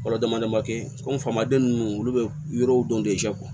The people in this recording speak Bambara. Fɔlɔ damadɔ ma kɛ komi faamaden ninnu olu bɛ yɔrɔw dɔn